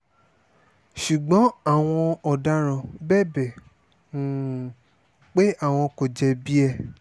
ṣùgbọ́n àwọn ọ̀daràn bẹbẹ̀ um pé àwọn kò jẹ̀bi ẹ̀